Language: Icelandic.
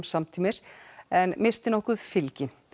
samtímis en missti nokkuð fylgi